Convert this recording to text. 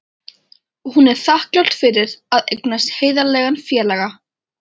Og hún er þakklát fyrir að eignast heiðarlegan félaga.